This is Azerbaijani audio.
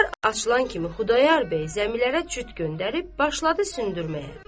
Bahar açılan kimi Xudayar bəy zəmilərə cüt göndərib başladı sürməyə.